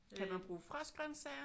Kan man bruge frostgrøntsager